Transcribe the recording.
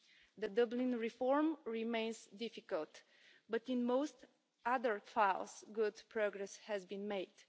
The Dublin reform remains difficult, but in most other files good progress has been made.